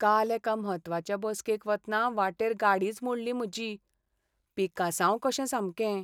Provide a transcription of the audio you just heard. काल एका म्हत्वाचे बसकेक वतना वाटेर गाडीच मोडली म्हजी. पिकासांव कशें सामकें.